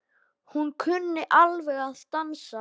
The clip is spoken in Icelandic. Hún kunni alveg að dansa.